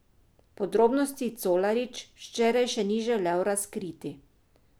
Podrobnosti Colarič včeraj še ni želel razkriti.